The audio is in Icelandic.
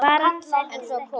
Varan seldist ekki.